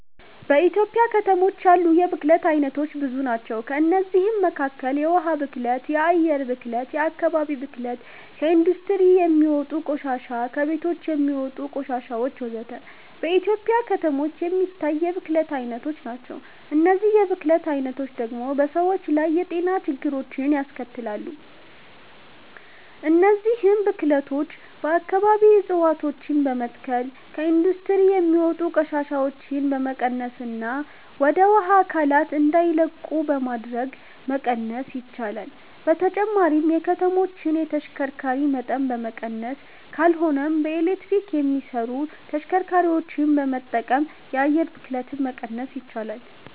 በኢትዮጵያ ከተሞች ያሉ የብክለት አይነቶች ብዙ ናቸው። ከእነዚህም መካከል የውሃ ብክለት፣ የአየር ብክለት፣ የአከባቢ ብክለት፣ ከኢንዱስትሪ የሚወጣ ቆሻሻ፣ ከቤቶች የሚወጣ ቆሻሾች ወዘተ። በኢትዮጵያ ከተሞች የሚታይ የብክለት አይነቶች ናቸው። እነዚህ የብክለት አይነቶች ደግሞ በሰዎች ላይ የጤና ችግሮችን ያስከትላሉ። እነዚህን ብክለቶች በአከባቢ እፀዋቶችን በመትከል፣ ከኢንዱስትሪ የሚወጡ ቆሻሻዎችን በመቀነስና ወደ ውሃ አካላት እንዳይለቁ በማድረግ መቀነስ ይቻላል። በተጨማሪም የከተማዎችን የተሽከርካሪ መጠን በመቀነስ ካልሆነም በኤሌክትሪክ የሚሰሩ ተሽከርካሪዎችን በመጠቀም የአየር ብክለትን መቀነስ ይቻላል።